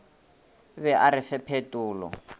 be a re fe phetolo